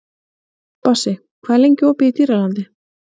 Bassi, hvað er lengi opið í Dýralandi?